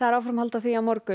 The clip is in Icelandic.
áframhald á því á morgun